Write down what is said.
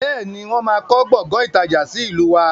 Bẹ́ẹ̀ni, wọn má kọ Gbọ̀ngán ìtajà sì ìlú wá.